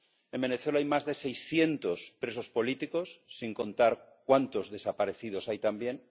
En Venezuela hay más de 600 presos políticos, sin contar cuántos desaparecidos hay también.